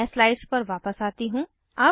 मैं स्लाइड्स पर वापस आती हूँ